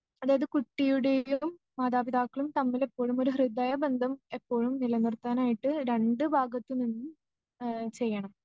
അതായത് കുട്ടിയുടെയും മാതാപിതാക്കളും തമ്മിലെപ്പോഴുമൊരു ഹൃദയബന്ധം എപ്പോഴും നിലനിർത്താനായിട്ട് രണ്ടു ഭാഗത്തുനിന്നും ആ ചെയ്യണം.